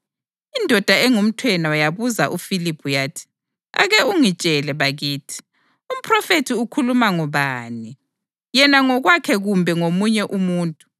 Indoda engumthenwa yabuza uFiliphu yathi, “Ake ungitshele bakithi, umphrofethi ukhuluma ngobani, yena ngokwakhe kumbe ngomunye umuntu?”